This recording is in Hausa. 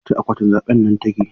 A ƙwace akwatin zabe nan take!